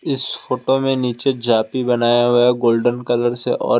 इस फोटो में नीचे जापी बनाया हुआ हैगोल्डन कलर से और एक--